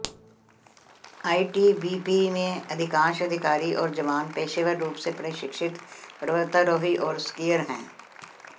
ITBP में अधिकांश अधिकारी और जवान पेशेवर रूप से प्रशिक्षित पर्वतारोही और स्कीयर हैं